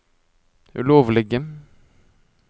ulovlige